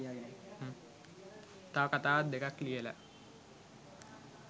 තව කතාවක් දෙකක් ලියලා